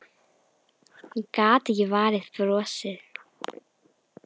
Gat ekki varist brosi.